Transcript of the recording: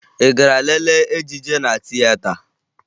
Ị gara lelee ejije na tieta?